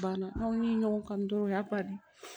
Banna aw ni ɲɔgɔn kan dɔrɔnw o y'a bali